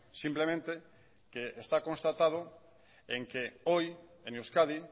simplemente que está constatado en que hoy en euskadi